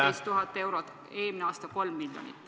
... 18 000 eurot, eelmine aasta panustati 3 miljonit.